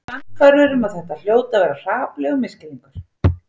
Sannfærður um að þetta hljóti að vera hrapallegur misskilningur.